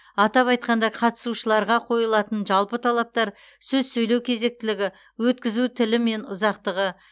атап айтқанда қатысушыларға қойылатын жалпы талаптар сөз сөйлеу кезектілігі өткізу тілі мен ұзақтығы